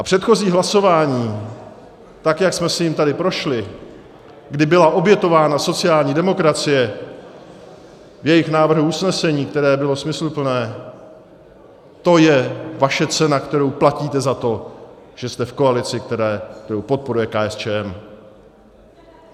A předchozí hlasování, tak jak jsme si jím tady prošli, kdy byla obětována sociální demokracie v jejich návrhu usnesení, které bylo smysluplné, to je vaše cena, kterou platíte za to, že jste v koalici, kterou podporuje KSČM.